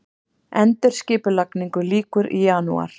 Endurskipulagningu lýkur í janúar